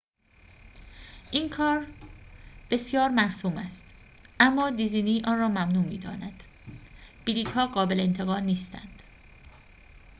این کار بسیار مرسوم است اما دیزنی آن را ممنوع می‌داند بلیط‌ها قابل انتقال نیستند